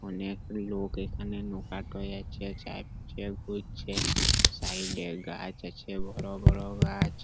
অনেক লোক এখানে নোকা করে আছে জানচ্ছে বুঝছে সাইড -এ গাছ আছে বড় বড় গাছ।